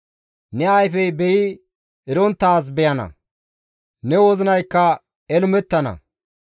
Ne ayfey beyi eronttaaz beyana; ne wozinaykka elumettana.